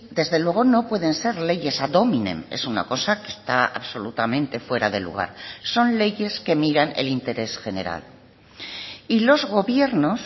desde luego no pueden ser leyes ad hominem es una cosa que está absolutamente fuera de lugar son leyes que miran el interés general y los gobiernos